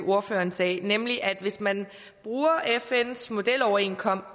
ordføreren sagde nemlig at hvis man bruger fns modeloverenskomst